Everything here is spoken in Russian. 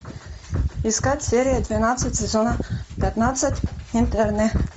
искать серия двенадцать сезона пятнадцать интерны